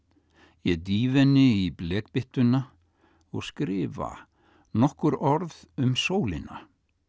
ég dýfi henni í blekbyttuna og skrifa nokkur orð um sólina